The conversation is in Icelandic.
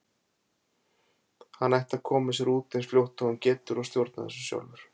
Hann ætti að koma sér út eins fljótt og hann getur og stjórna þessu sjálfur.